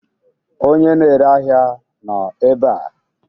Onye na-ere ahịa nọ ebe a?